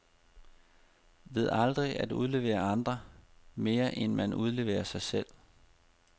Ved aldrig at udlevere andre, mere end man udleverer sig selv.